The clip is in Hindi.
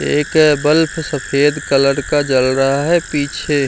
एक बल्ब सफेद कलर का जल रहा है पीछे।